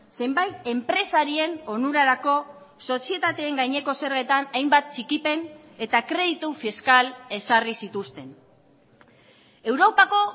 zenbait enpresarien onurarako sozietateen gaineko zergetan hainbat txikipen eta kreditu fiskal ezarri zituzten europako